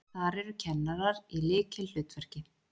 Þar eru kennarar í lykilhlutverki.